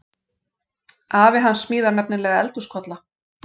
Afi hans smíðar nefnilega eldhúskolla.